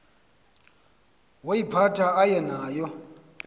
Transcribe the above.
woyiphatha aye nayo